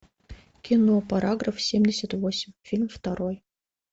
кино параграф семьдесят восемь фильм второй